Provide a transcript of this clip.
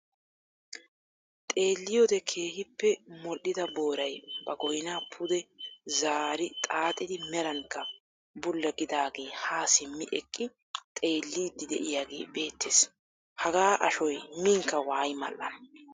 Xeelliyoode keehippe mooll"ida booray ba goynaa pude zaari xaaxidi merankka bulla gidaage haa simmi eqqi xeelliidi de'iyaagee beettees. Hagaa ashoy miinkka waayi mall"ana.